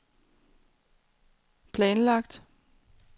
planlagt